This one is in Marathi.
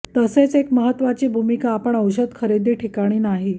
तसेच एक महत्वाची भूमिका आपण औषध खरेदी ठिकाणी नाही